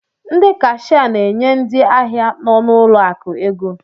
ndị Kashịa na-enye ndị ahịa nọ n'ụlọ akụ ego